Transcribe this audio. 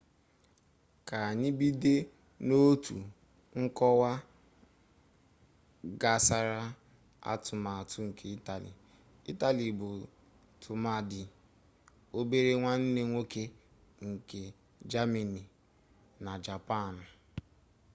ka anyị bido n'otu nkọwa gnasara atụmatụ nke itali itali bụ tụmadị obere nwanne nwoke nke jamani na japanụ